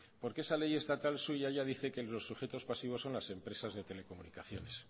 porque esa ley estatal suya ya dice que los sujetos pasivos son las empresas de telecomunicaciones